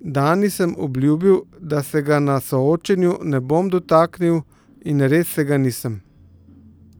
'Dani sem obljubil, da se ga na soočenju ne bom dotaknil, in res se ga nisem.